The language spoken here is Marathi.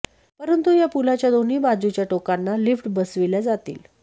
परंतु या पुलाच्या दोन्ही बाजूच्या टोकांना लिफ्ट बसविल्या जातील